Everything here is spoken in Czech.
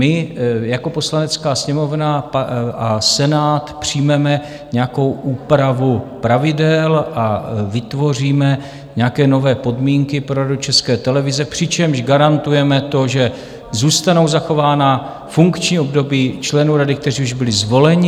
My jako Poslanecká sněmovna a Senát přijmeme nějakou úpravu pravidel a vytvoříme nějaké nové podmínky pro Radu České televize, přičemž garantujeme to, že zůstanou zachována funkční období členů rady, kteří už byli zvoleni.